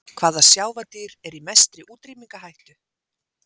Hvaða sjávardýr er í mestri útrýmingarhættu?